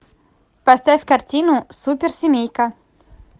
поставь картину суперсемейка